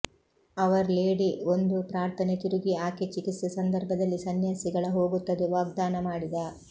hour lady ಒಂದು ಪ್ರಾರ್ಥನೆ ತಿರುಗಿ ಆಕೆ ಚಿಕಿತ್ಸೆ ಸಂದರ್ಭದಲ್ಲಿ ಸನ್ಯಾಸಿಗಳ ಹೋಗುತ್ತದೆ ವಾಗ್ದಾನ ಮಾಡಿದ